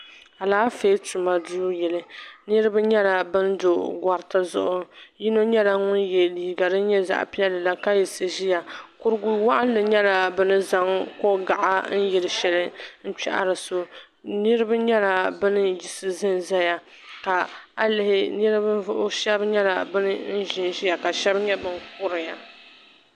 Alaafee tuma duu yili niriba nyɛla ban do goriti zuɣu yino nyɛla ŋun ye liiga din nyɛ zaɣa piɛlli la ka yiɣisi ʒiya kuriwaɣinli nyɛla bini zaŋ kogaɣa yili yili sheli n kpahiri so niriba nyɛla bini yiɣisi zanzaya ka a lihi ninvuɣu sheba nyɛla ban ʒinʒia ka sheba nyɛ ban kuriya.